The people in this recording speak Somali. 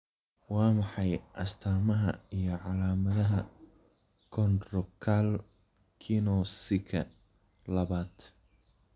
Waa maxay astaamaha iyo calaamadaha Chondrocalcinosika labad?